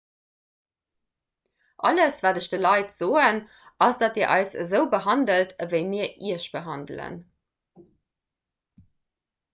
alles wat ech de leit soen ass datt dir eis esou behandelt ewéi mir iech behandelen